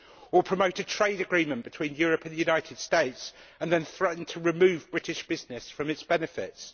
Or promote a trade agreement between Europe and the United States, then threaten to remove British business from its benefits?